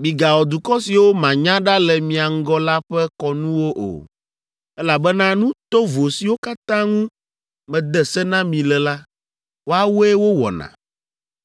Migawɔ dukɔ siwo manya ɖa le mia ŋgɔ la ƒe kɔnuwo o, elabena nu tovo siwo katã ŋu mede se na mi le la, woawoe wowɔna.